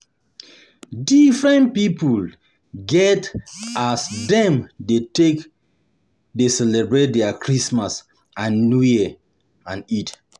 Different pipo get as dem take de celebrate their Christmas, new year and Eid